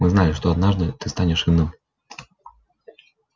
мы знали что однажды ты станешь иным